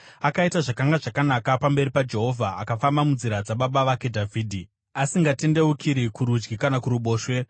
Akaita zvakanga zvakanaka pamberi paJehovha akafamba munzira dzababa vake Dhavhidhi, asingatendeukiri kurudyi kana kuruboshwe.